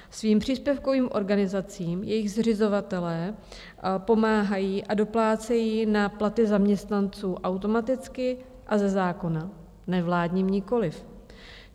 Svým příspěvkovým organizacím jejich zřizovatelé pomáhají a doplácejí na platy zaměstnanců automaticky a ze zákona, nevládním nikoliv.